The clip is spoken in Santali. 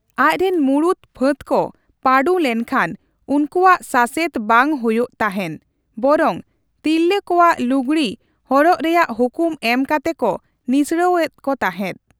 ᱟᱪᱨᱮᱱ ᱢᱩᱬᱩᱫ ᱯᱷᱟᱹᱫᱽ ᱠᱚ ᱯᱟᱹᱰᱩ ᱞᱮᱱᱠᱷᱟᱱ ᱩᱱᱠᱩᱭᱟᱜ ᱥᱟᱥᱮᱛ ᱵᱟᱝ ᱦᱳᱭᱳᱜ ᱛᱟᱸᱦᱮᱜ, ᱵᱚᱨᱚᱝ ᱛᱤᱨᱞᱟᱹ ᱠᱚᱣᱟᱜ ᱞᱩᱜᱽᱲᱤ ᱦᱚᱨᱚᱜ ᱨᱮᱭᱟᱜ ᱦᱩᱠᱩᱢ ᱮᱢ ᱠᱟᱛᱮ ᱠᱚ ᱱᱤᱥᱲᱟᱹᱣ ᱮᱫ ᱠᱚ ᱛᱟᱸᱦᱮᱫ ᱾